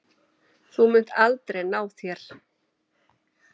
Þú munt aldrei ná þér.